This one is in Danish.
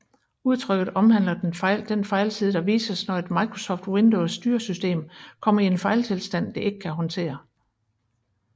Udtrykket omhandler den fejlside der vises når et Microsoft Windows styresystem kommer i en fejltilstand det ikke kan håndtere